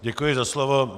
Děkuji za slovo.